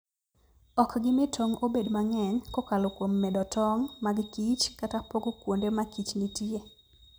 Ok gimi tong' obed mang'eny kokalo kuom medo tong' mag kich kata pogo kuonde ma kich nitie.